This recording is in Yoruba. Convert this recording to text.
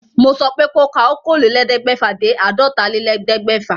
Mo sọ pé ko ka okòólélẹ́ẹ̀ẹ́dẹ́gbẹ́fà dé àádọ́tálélẹ́ẹ̀ẹ́dẹ́gbẹ́fà